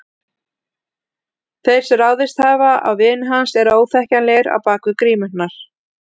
Þeir sem ráðist hafa á vini hans eru óþekkjanlegir bak við grímurnar.